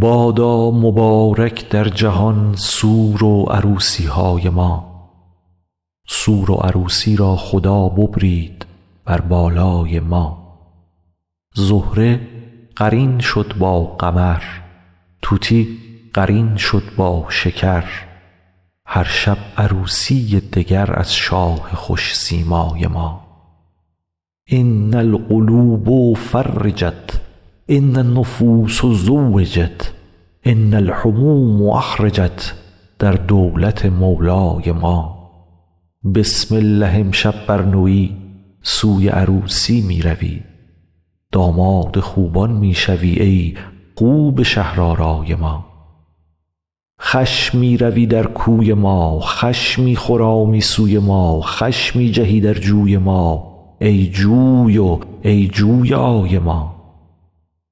بادا مبارک در جهان سور و عروسی های ما سور و عروسی را خدا ببرید بر بالای ما زهره قرین شد با قمر طوطی قرین شد با شکر هر شب عروسی یی دگر از شاه خوش سیمای ما ان القلوب فرجت ان النفوس زوجت ان الهموم اخرجت در دولت مولای ما بسم الله امشب بر نوی سوی عروسی می روی داماد خوبان می شوی ای خوب شهرآرای ما خوش می روی در کوی ما خوش می خرامی سوی ما خوش می جهی در جوی ما ای جوی و ای جویای ما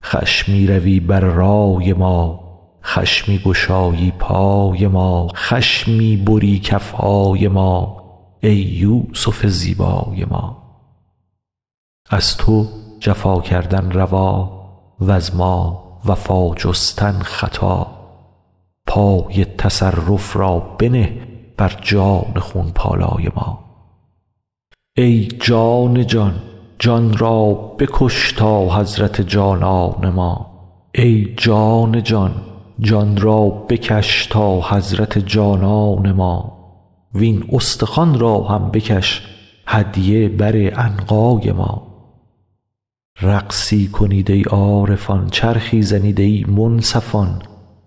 خوش می روی بر رای ما خوش می گشایی پای ما خوش می بری کف های ما ای یوسف زیبای ما از تو جفا کردن روا وز ما وفا جستن خطا پای تصرف را بنه بر جان خون پالای ما ای جان جان جان را بکش تا حضرت جانان ما وین استخوان را هم بکش هدیه بر عنقای ما رقصی کنید ای عارفان چرخی زنید ای منصفان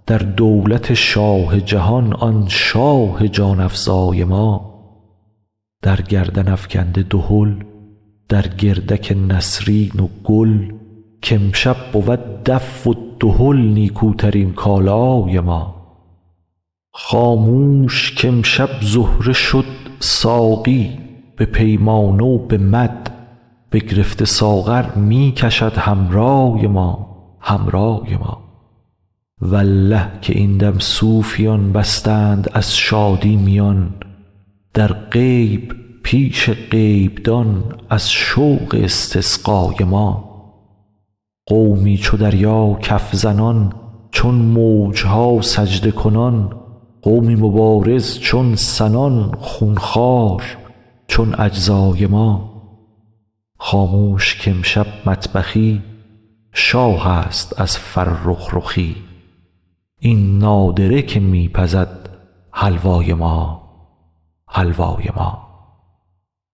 در دولت شاه جهان آن شاه جان افزای ما در گردن افکنده دهل در گردک نسرین و گل که امشب بود دف و دهل نیکوترین کالای ما خاموش که امشب زهره شد ساقی به پیمانه و به مد بگرفته ساغر می کشد حمرای ما حمرای ما والله که این دم صوفیان بستند از شادی میان در غیب پیش غیبدان از شوق استسقای ما قومی چو دریا کف زنان چون موج ها سجده کنان قومی مبارز چون سنان خون خوار چون اجزای ما خاموش که امشب مطبخی شاهست از فرخ رخی این نادره که می پزد حلوای ما حلوای ما